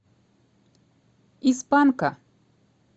из панка